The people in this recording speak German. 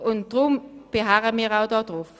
Deshalb beharren wir darauf.